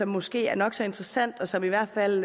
måske er nok så interessant og som i hvert fald